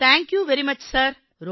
thank you very much sir